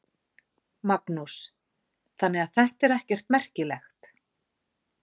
Magnús: Þannig að þetta er ekkert merkilegt?